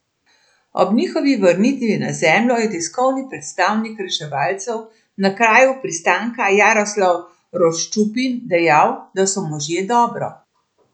Ob njihovi vrnitvi na Zemljo je tiskovni predstavnik reševalcev na kraju pristanka Jaroslav Roščupin dejal, da so možje dobro.